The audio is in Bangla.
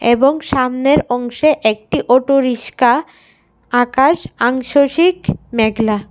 এবং সামনের অংশে একটি অটো রিসকা আকাশ আংশসিক মেঘলা।